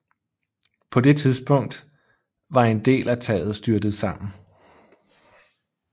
På det tidspunkt var en del af taget styrtet sammen